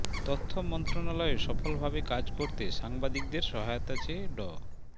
তথ্য মন্ত্রণালয়ে সফলভাবে কাজ করতে সাংবাদিকদের সহায়তা চেয়ে ড